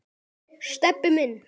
Stebbi minn.